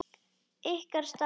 Ykkar stað?